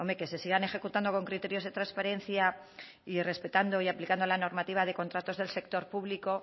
que se sigan ejecutando con criterios de transparencia y respetando y aplicando la normativa de contratos del sector público